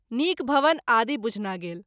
नीक भवन आदि बुझना गेल।